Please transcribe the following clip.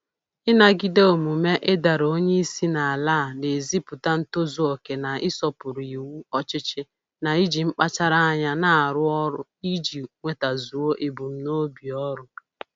Ịnagide omume ịdara onye isi n'ala a na-ezipụta ntozuoke na-ịsọpụrụ iwu ọchịchị na iji mkpachara anya arụ ọrụ iji nwetazuo ebumnobi ọrụ